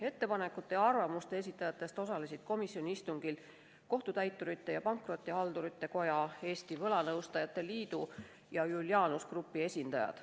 Ettepanekute ja arvamuste esitajatest osalesid komisjoni istungil Kohtutäiturite ja Pankrotihaldurite Koja, Eesti Võlanõustajate Liidu ja Julianus Grupi esindajad.